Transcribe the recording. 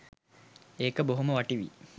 ඒක බොහොම වටීවි.